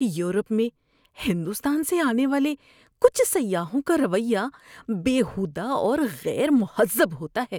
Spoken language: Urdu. یورپ میں ہندوستان سے آنے والے کچھ سیاحوں کا رویہ بیہودہ اور غیر مہذب ہوتا ہے۔